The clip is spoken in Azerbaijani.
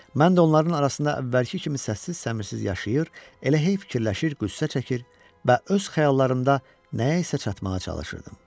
Mən də onların arasında əvvəlki kimi səssiz-səmirsiz yaşayır, elə hey fikirləşir, qüssə çəkir və öz xəyallarımda nəyə isə çatmağa çalışırdım.